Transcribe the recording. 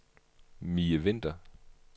Mie Vinther